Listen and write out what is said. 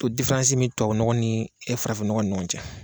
O difaransi bɛ tubabu nɔgɔ ni farafin nɔgɔ ni ɲɔgɔn cɛ.